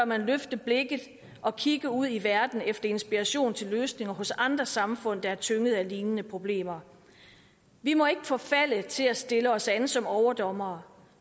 man løfte blikket og kigge ud i verden efter inspiration til løsninger hos andre samfund der er tynget af lignende problemer vi må ikke forfalde til at stille os an som overdommere